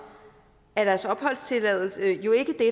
er deres opholdstilladelse jo ikke det